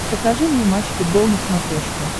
покажи мне матч футбол на смотрешке